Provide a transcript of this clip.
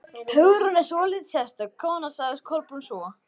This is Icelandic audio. Hugrún er svolítið sérstök kona sagði Kolbrún svo.